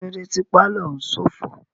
Kílódé tí pálọ̀ òún ṣófo?